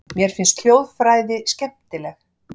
Mér finnst hljóðfræði skemmtileg.